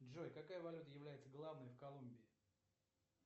джой какая валюта является главной в колумбии